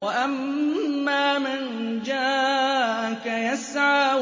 وَأَمَّا مَن جَاءَكَ يَسْعَىٰ